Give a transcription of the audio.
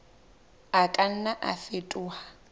a ka nna a fetoha